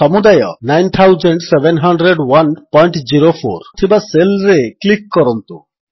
ସମୁଦାୟ 970104 ଥିବା ସେଲ୍ ରେ କ୍ଲିକ୍ କରନ୍ତୁ